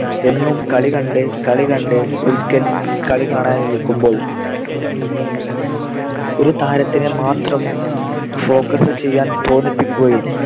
എന്നും കളി കണ്ട് കളി കണ്ട് ഒരിക്കൽ കളി കാണാൻ ഇരിക്കുമ്പോൾ ഒരു താരത്തിനെ മാത്രം focus ചെയ്യാൻ തോന്നിപ്പിക്കുകയും